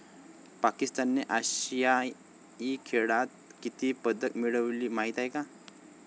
पाकिस्तानने आशियाई खेळात किती पदकं मिळवली माहीत आहे का?